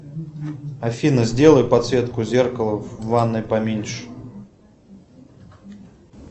афина сделай подсветку зеркала в ванной поменьше